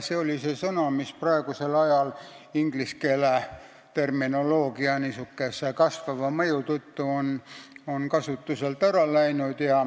See on sõna, mis on praegusel ajal ingliskeelse terminoloogia kasvava mõju tõttu kasutuselt ära läinud.